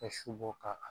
Ka su bɔ ka